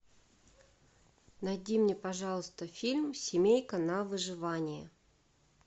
найди мне пожалуйста фильм семейка на выживание